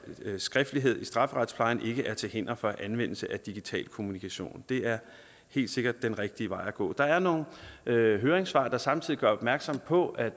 skriftlighed i strafferetsplejen ikke er til hinder for anvendelse af digital kommunikation det er helt sikkert den rigtige vej at gå der er nogle høringssvar der samtidig gør opmærksom på at